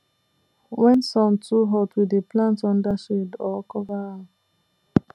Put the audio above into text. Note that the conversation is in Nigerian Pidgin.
when sun too hot we dey plant under shade or cover am